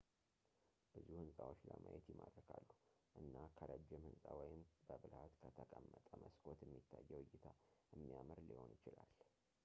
ብዙ ህንፃዎች ለማየት ይማርካሉ እና ከረጅም ህንፃ ወይም በብልሃት ከተቀመጠ መስኮት የሚታየው እይታ የሚያምር ሊሆን ይችላል